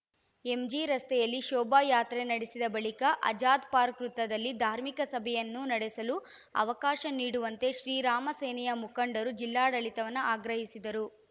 MG ರಸ್ತೆಯಲ್ಲಿ ಶೋಭಾಯಾತ್ರೆ ನಡೆಸಿದ ಬಳಿಕ ಆಜಾದ್‌ ಪಾರ್ಕ ವೃತ್ತದಲ್ಲಿ ಧಾರ್ಮಿಕ ಸಭೆಯನ್ನು ನಡೆಸಲು ಅವಕಾಶ ನೀಡುವಂತೆ ಶ್ರೀರಾಮ ಸೇನೆಯ ಮುಖಂಡರು ಜಿಲ್ಲಾಡಳಿತವನ್ನ ಆಗ್ರಹಿಸಿದ್ದರು